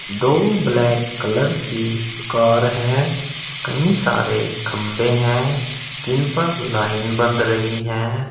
दो black colour की car हैं कई सारे खंभे हैं जिन पर लाइन बंध रही हैं।